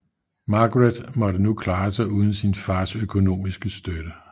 Margaret måtte nu klare sig uden sin fars økonomiske støtte